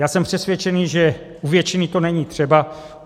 Já jsem přesvědčený, že u většiny to není třeba.